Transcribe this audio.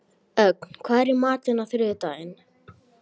Ögn, hvað er í matinn á þriðjudaginn?